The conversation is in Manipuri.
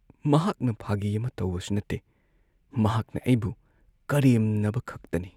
ꯃꯍꯥꯛꯅ ꯐꯥꯒꯤ ꯑꯃ ꯇꯧꯕꯁꯨ ꯅꯠꯇꯦ, ꯃꯍꯥꯛꯅ ꯑꯩꯕꯨ ꯀꯔꯦꯝꯅꯕ ꯈꯛꯇꯅꯤ꯫